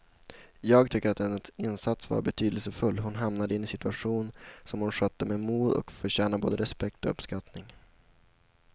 Jag tycker att hennes insats var betydelsefull, hon hamnade i en situation som hon skötte med mod och förtjänar både respekt och uppskattning.